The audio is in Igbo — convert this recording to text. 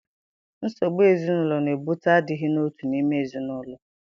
Nsogbu ezinụlọ na-ebute adịghị n'otu n'ime ezinụlọ.